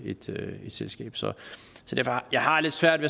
i et selskab så jeg har lidt svært